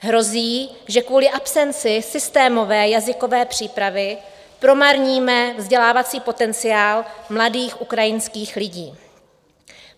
Hrozí, že kvůli absenci systémové jazykové přípravy promarníme vzdělávací potenciál mladých ukrajinských lidí.